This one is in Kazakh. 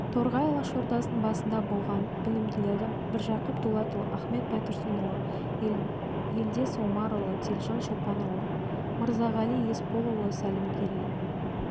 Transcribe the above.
торғай алашордасының басында болған білімділері міржақып дулатұлы ахмет байтұрсынұлы елдес омарұлы телжан шопанұлы мырзағали есполұлы сәлімгерей